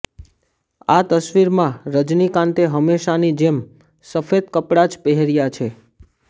આ તસવીરમાં રજનીકાંતે હંમેશાની જેમ સફેદ કપડા જ પહેર્યા છે